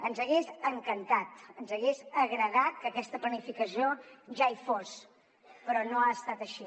ens hagués encantat ens hagués agradat que aquesta planificació ja hi fos però no ha estat així